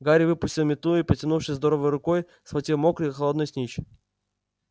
гарри выпустил метлу и потянувшись здоровой рукой схватил мокрый холодный снитч